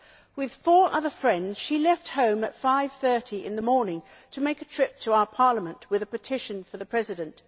With four other friends she left home at 5.30 in the morning to make a trip to our Parliament with a petition for the President.